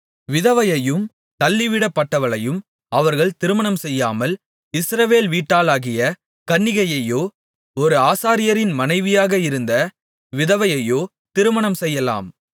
விதவையையும் தள்ளிவிடப்பட்டவளையும் அவர்கள் திருமணம்செய்யாமல் இஸ்ரவேல் வீட்டாளாகிய கன்னிகையையோ ஒரு ஆசாரியரின் மனைவியாக இருந்த விதவையையோ திருமணம்செய்யலாம்